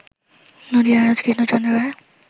নদিয়ারাজ Krishnachandra Roy